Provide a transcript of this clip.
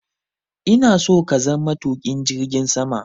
ina so ka zama matuƙin jirgin sama!